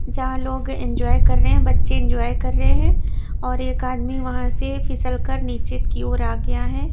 जहाँ लोग एंजॉय कर रहे हैं बच्चे एंजॉय कर रहे हैं और एक आदमी वहाँ से फिसलकर नीचे की और आ गया है।